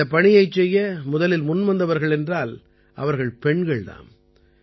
இந்தப் பணியைச் செய்ய முதலில் முன்வந்தவர்கள் என்றால் அவர்கள் பெண்கள் தாம்